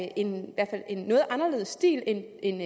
er en noget anderledes stil end